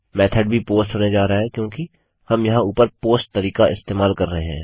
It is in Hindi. मेथोड भी पोस्ट होने जा रहा है क्योंकि हम यहाँ ऊपर पोस्ट तरीका इस्तेमाल कर रहे हैं